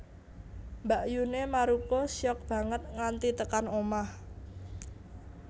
Mbakyune Maruko shock banget nganti tekan omah